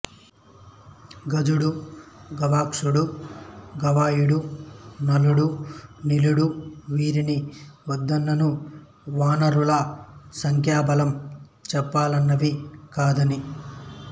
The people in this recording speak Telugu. గజుడు గవాక్షుడు గవయుడు నలుడు నీలుడు వీరి వద్దనున్న వానరుల సంఖ్యాబలం చెప్పనలవి కానిది